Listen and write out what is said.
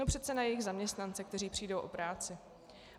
No přece na jejich zaměstnance, kteří přijdou o práci.